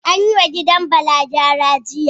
An yi wa gidan Bala gyara, jiya